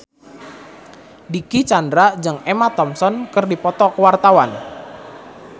Dicky Chandra jeung Emma Thompson keur dipoto ku wartawan